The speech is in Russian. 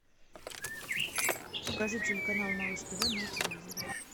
покажи телеканал малыш тв на телевизоре